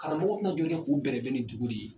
Karamɔgɔ kun jɔlen k'u bɛrɛbɛn ni dugu de ye.